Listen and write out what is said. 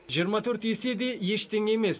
жиырма төрт есе де ештеңе емес